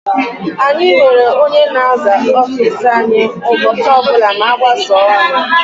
Anyị nwere ónyé na-aza ọffici anyị ụbọchị ọbula ma agbasaaa ọrụ.